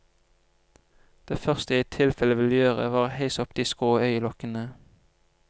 Det første jeg i tilfelle ville gjøre var å heise opp de skrå øyelokkene.